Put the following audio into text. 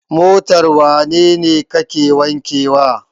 Motar wane ne kake wankewa?